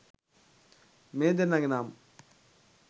මේ දෙන්නගේ නම්.